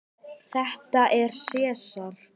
Þetta er Sesar.